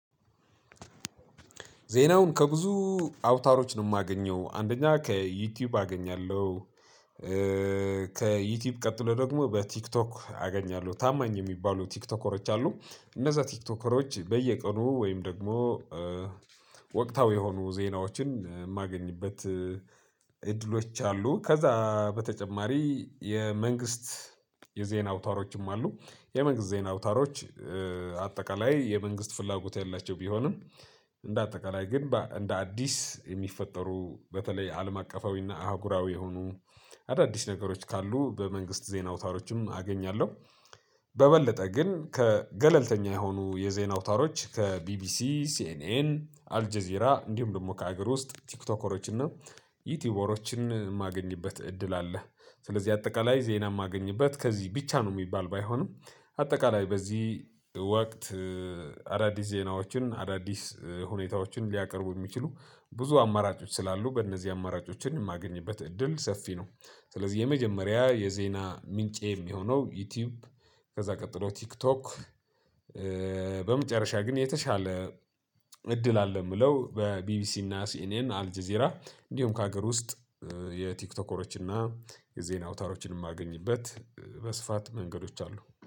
ዜናውን ከብዙ አውታሮች ነው የማገኘው አንደኛ ከዩቲዩብ አገኛለሁ። ከዩቲዩብ ቀጥሎ ደግሞ በቲክቶክ አገኛለሁ ታማኝ የሚባሉ ቲክቶከሮች አሉ። እነዚያ ቲክቶከሮች በየቀኑ ወይም ደግሞ ወቅታዊ የሆኑ ዜናዎችን የማገኝበት እድሎች አሉ። ከዛ በተጨማሪ የመንግስት የዜና አውታሮችም አሉ። የመንግስት ዜና አውታሮች አጠቃላይ የመንግስት ፍላጎት ያላቸውም ቢሆንም። እንደ አጠቃላይ ግን እንደ አዲስ የሚፈጠሩ በተለይ አለም አቀፋዊና አህጉራዊ የሆኑ አዳዲስ ነገሮች ካሉ በመንግስት ዜና ወታሮችም አገኛለሁ። በበለጠ ግን ከገለልተኛ የሆኑ የዜና አውታሮች ከቢቢሲ ሲኤንኤን አልጄዜራ እንዲሁም ደግሞ ከሀገር ውስጥ ቲክቶከሮች እና ዩቲዩበሮችን የማገኝበት እድል አለ። ስለዚህ አጠቃላይ ዜና የማገኝበት ከዚህ ብቻ ነው የሚባል ባይሆንም። አጠቃላይ በዚህ ወቅት አዳዲስ ዜናዎችን አዳዲስ ሁኔታዎችን ሊያቀርቡ የሚችሉ ብዙ አማራጮች ስላሉ በእነዚህ አማራጮችን የማገኝበት እድል ሰፊ ነው። ስለዚህ የመጀመሪያ የዜና ምንጬ የሚሆነው ዩቲዩብ ከዛ ቀጥሎ ቲክቶክ። በመጨረሻ ግን የተሻለ እድል አለ የምለው በቢቢሲ እና ሲኔን አልጄዜራ እንዲሁም ከሀገር ውስጥ የቲክቶከሮችን እና የዜና አውታሮችንም የማገኝበት በስፋት መንገዶች አሉ